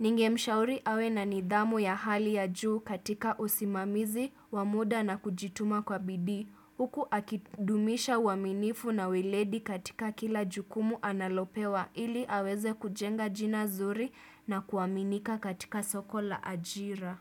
ningemshauri awe na nidhamu ya hali ya juu katika usimamizi wa muda na kujituma kwa bidii. Huku akidumisha aaminifu na weledi katika kila jukumu analopewa ili aweze kujenga jina nzuri na kuaminika katika soko la ajira.